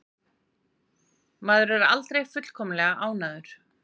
Maður er aldrei fullkomlega ánægður.